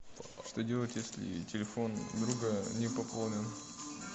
что делать если телефон друга не пополнен